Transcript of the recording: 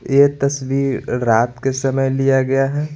ये तस्वीर रात के समय लिया गया है।